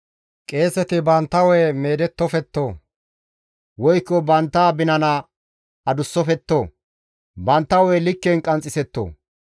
« ‹Qeeseti bantta hu7e meedettofetto, woykko bantta binana adussofetto; bantta hu7e likken qanxxisetto.